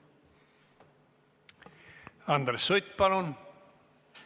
Andres Sutt, palun!